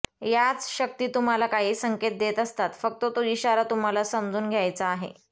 याच शक्ती तुम्हाला काही संकेत देत असतात फक्त तो इशारा तुम्हाला समजून घ्यायचा आहे